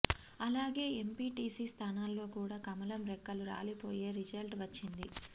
అలాగే ఎంపీటీసీ స్థానాల్లో కూడా కమలం రెక్కలు రాలిపోయే రిజల్ట్ వచ్చింది